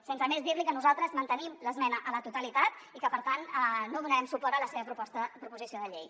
sense més dir li que nosaltres mantenim l’esmena a la totalitat i que per tant no donarem suport a la seva proposició de llei